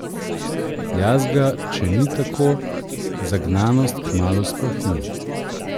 Jaz ga, če ni tako, zagnanost kmalu splahni.